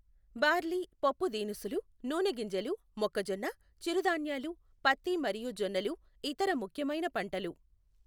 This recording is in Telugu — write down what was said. బార్లీ, పప్పు దీనుసులు, నూనె గింజలు, మొక్కజొన్న, చిరు ధాన్యాలు, పత్తి మరియు జొన్నలు ఇతర ముఖ్యమైన పంటలు.